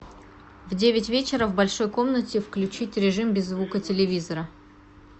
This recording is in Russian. в девять вечера в большой комнате включить режим без звука телевизора